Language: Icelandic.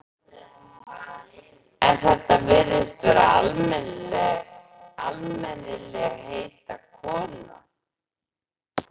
En þetta virtist vera almennilegheita kona.